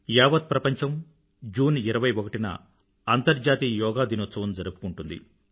యావత్ ప్రపంచం జూన్ 21న అంతర్జాతీయ యోగా దినోత్సవం జరుపుకుంటుంది